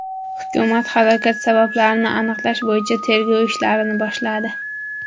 Hukumat halokat sabablarini aniqlash bo‘yicha tergov ishlarini boshladi.